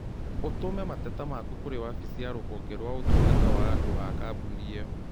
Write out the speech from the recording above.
ũtũme mateta maku kũrĩ wabici ya rũhonge rwa ũtungata wa andũ a kambũni ĩno